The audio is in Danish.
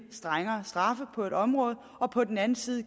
strengere straffe på et område og på den anden side